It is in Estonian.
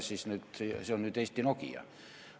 Kas see on nüüd Eesti Nokia?